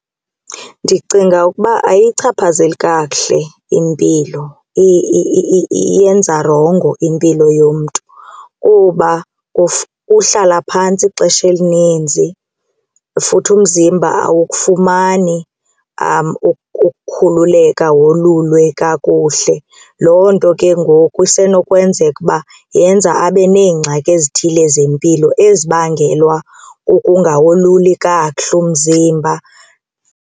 Ndicinga ukuba ayiyichaphazeli kakuhle impilo iyenza rongo impilo yomntu kuba uhlala phantsi ixesha elininzi futhi umzimba awukufumani ukukhululeka wolulwe kakuhle. Loo nto ke ngoku isenokwenzeka uba yenza abe neengxaki ezithile zempilo ezibangelwa kukungawoluli kakuhle umzimba.